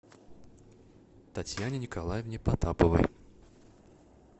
татьяне николаевне потаповой